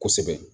Kosɛbɛ